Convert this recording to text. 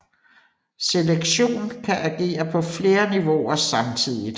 Selektion kan agere på flere niveauer samtidigt